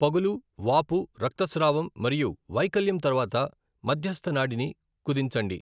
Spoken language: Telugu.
పగులు, వాపు, రక్తస్రావం మరియు వైకల్యం తర్వాత మధ్యస్థ నాడిని కుదించండి.